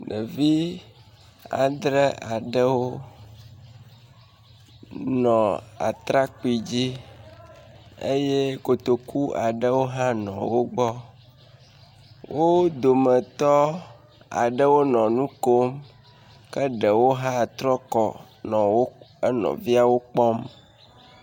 Ɖevi andre aɖewo nɔ atrakpui dzi eye kotoko aɖewo hã nɔ wo gbɔ. Wo dometɔ aɖewo nɔ nu kom ke ɖewo hã trɔ kɔ wo enɔviawo kpɔm.